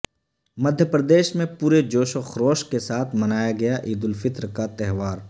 مدھیہ پردیش میں پورے جوش و خروش کے ساتھ منایا گیا عید الفطر کا تہوار